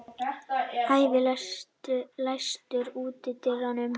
Ævi, læstu útidyrunum.